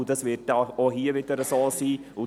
Dies wird wohl auch hier so sein.